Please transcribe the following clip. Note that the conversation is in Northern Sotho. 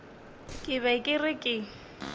ke be ke re ke